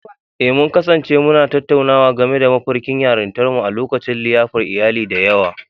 Eh, mun kasance muna tattaunawa game da mafarkin yarintarmu a lokacin liyafar iyali da yawa.